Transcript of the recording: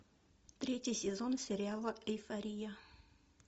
третий сезон сериала эйфория